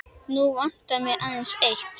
Nú vantar mig aðeins eitt!